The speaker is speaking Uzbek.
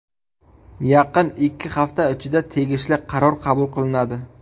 Yaqin ikki hafta ichida tegishli qaror qabul qilinadi.